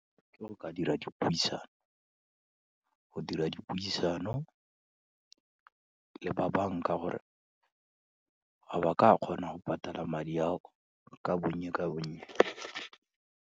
Ke go ka dira dipuisano, go dira dipuisano le ba bank-a gore, a ba ka kgona go patala madi ao ka bonye ka bonye.